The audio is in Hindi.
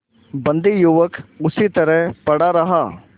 बंदी युवक उसी तरह पड़ा रहा